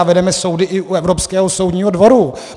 A vedeme soudy i u Evropského soudního dvoru.